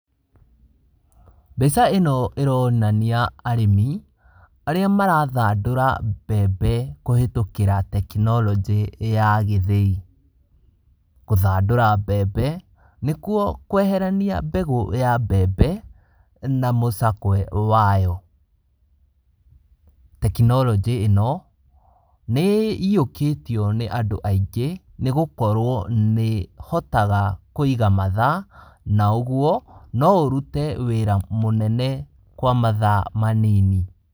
Mbica ĩno ĩronania arĩmi arĩa marathandũra mbembe kũhĩtũkĩra tekinoronjĩ ya gĩthĩi. Gũthandũra mbembe nĩkuo kweherania mbegũ ya mbembe na mũcakwe wayo. Tekinoronjĩ ĩno nĩĩiyũkĩtio nĩ andũ aingĩ nĩgũkorwo nĩĩhotaga kũiga mathaa , na ũguo no ũrute wĩra mũnene kwa mathaa manini.